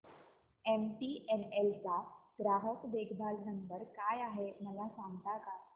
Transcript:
MTNL चा ग्राहक देखभाल नंबर काय आहे मला सांगता का